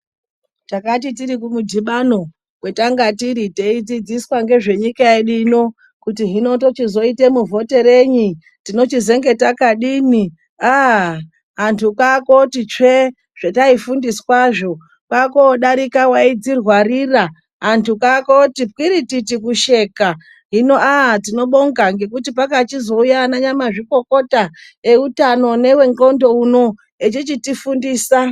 Yakati tiri kumudhibano kwatanga tiri teidzidziswa ngezvenyika yedu ino kuti hino tochizoite muvhoterenyi tinochizemge rakadini aaa antu kwakoti tsvee zvetaifundiswazvo kwakodarika waidzirwarira antu kwakuti kwirititi kusheka hino aa tinobonga ngekuti pakachizouya ana nyamazvikokota eutano newe ndxondo uno echichitifundisa.